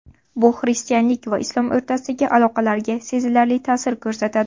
Bu xristianlik va islom o‘rtasidagi aloqalarga sezilarli ta’sir ko‘rsatadi.